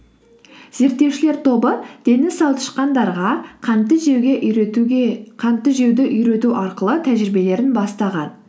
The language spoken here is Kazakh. зерттеушілер тобы дені сау тышқандарға қантты жеуді үйрету арқылы тәжірибелерін бастаған